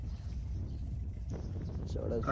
સાડા સોળ